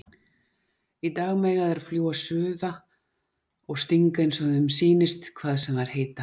Í dag mega þær fljúga suða og stinga einsog þeim sýnist hvað sem þær heita.